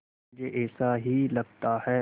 मुझे ऐसा ही लगता है